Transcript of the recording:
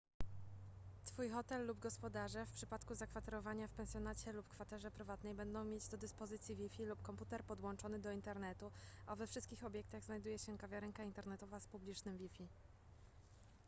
twój hotel lub gospodarze w przypadku zakwaterowania w pensjonacie lub kwaterze prywatnej będą mieć do dyspozycji wi-fi lub komputer podłączony do internetu a we wszystkich obiektach znajduje się kawiarenka internetowa z publicznym wi-fi